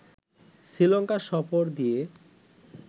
শ্রীলঙ্কা সফর দিয়ে